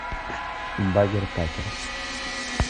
багер такерс